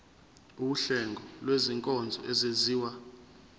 wuhlengo lwezinkonzo ezenziwa